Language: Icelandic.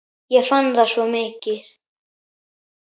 Ég fann það svo mikið.